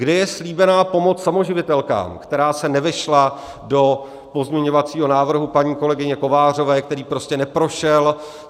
Kde je slíbená pomoc samoživitelkám, která se nevešla do pozměňovacího návrhu paní kolegyně Kovářové, který prostě neprošel?